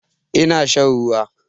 Ina shan ruwa